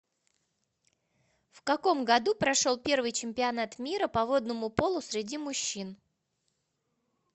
в каком году прошел первый чемпионат мира по водному поло среди мужчин